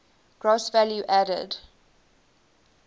gross value added